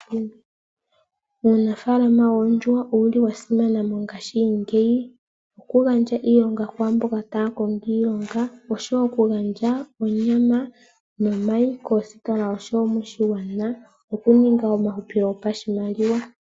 Uunafaakama woondjuhwa owu li wa simana mongaashingeyi, oku gandja iilonga kwaamboka taa kongo iilonga koostitola osho wo oku gandja onyama nomayi koositola nosho wo moshigwana, no ku ninga omahupilo gopashimaliwa.